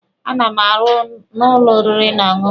A na m arụ n'ụlọ oriri na ọṅụṅụ.